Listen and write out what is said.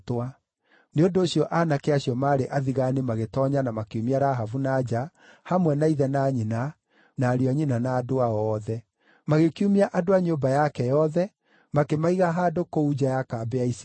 Nĩ ũndũ ũcio aanake acio maarĩ athigaani magĩtoonya na makiumia Rahabu na nja, hamwe na ithe na nyina, na ariũ a nyina na andũ ao othe. Magĩkiumia andũ a nyũmba yake othe, makĩmaiga handũ kũu nja ya kambĩ ya Isiraeli.